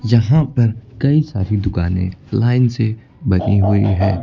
यहां पर कई सारी दुकानें लाइन से बनी हुई हैं।